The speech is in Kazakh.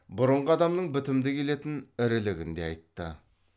бұрынғы адамның бітімді келетін ірілігін де айтты